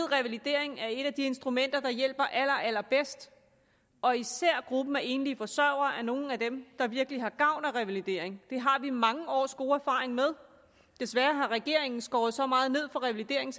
revalidering er et af de instrumenter der hjælper allerallerbedst og især er gruppen af enlige forsørgere nogle af dem der virkelig har gavn af revalidering det har vi mange års god erfaring med desværre har regeringen skåret så meget ned for revalidering